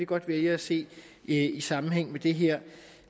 godt vælge at se i i sammenhæng med det her